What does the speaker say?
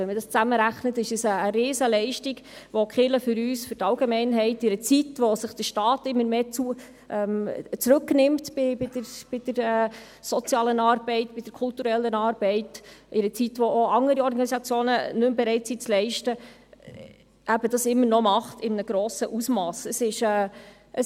Wenn man es zusammenrechnet, ist es eine Riesenleistung, welche die Kirche für uns, für die Allgemeinheit, erbringt, in einer Zeit, wo sich der Staat bei der sozialen und kulturellen Arbeit immer stärker zurücknimmt, und in einer Zeit, wo auch andere Organisationen nicht mehr bereit sind, diese zu leisten.